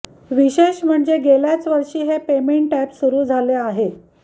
विशेष म्हणजे गेल्याच वर्षी हे पेमेंट अॅप सुरू झाले आहे